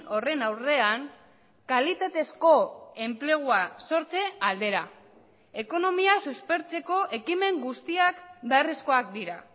horren aurrean kalitatezko enplegua sortze aldera ekonomia suspertzeko ekimen guztiak beharrezkoak dira